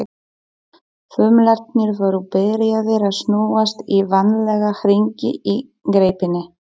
Þumlarnir voru byrjaðir að snúast í vanalega hringi í greipinni.